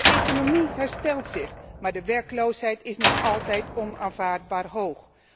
De economie herstelt zich, maar de werkloosheid is nog altijd onaanvaardbaar hoog.